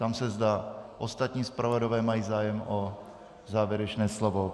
Ptám se, zda ostatní zpravodajové mají zájem o závěrečné slovo.